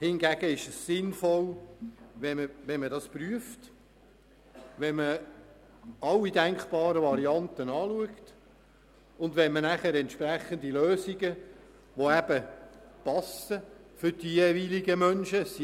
Hingegen ist es sinnvoll, wenn man den Antrag prüft, alle denkbaren Varianten in Betracht zieht und entsprechende Lösungen sucht, die für die jeweiligen Menschen passen.